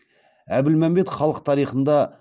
әбілмәмбет халық тарихында